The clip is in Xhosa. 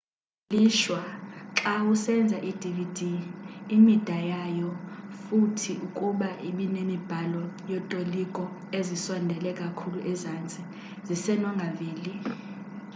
ngelishwa xawusenza i-dvd imida yayo futhi ukuba ibinemibhalo yotoliko ezisondele kakhulu ezantsi zisenongaveli